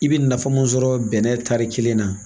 I bɛ nafa mun sɔrɔ bɛnɛ tari kelen na